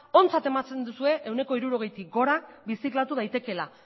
ontzat ematen duzue ehuneko hirurogeitik gora birziklatu daitekeela